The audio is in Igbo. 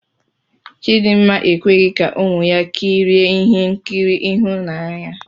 Chidinma ekweghị ka ụmụ ya kirie ihe nkiri ịhụnanya.